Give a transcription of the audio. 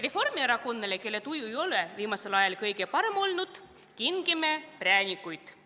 Reformierakonnale, kelle tuju ei ole viimasel ajal kõige parem olnud, kingime präänikuid.